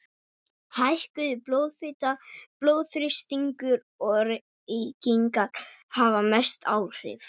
Hækkuð blóðfita, blóðþrýstingur og reykingar hafa mest áhrif.